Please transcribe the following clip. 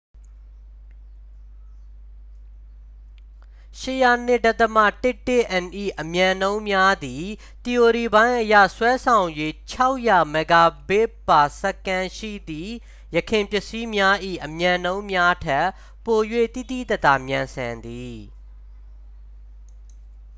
၈၀၂.၁၁n ၏ အမြန်နှုန်းများသည် သီအိုရီပိုင်းအရ စွမ်းဆောင်ရည် ၆၀၀mbit/s ရှိသည့် ယခင်ပစ္စည်းများ၏ အမြန်နှုန်းများထက် ပို၍ သိသိသာသာမြန်ဆန်သည်။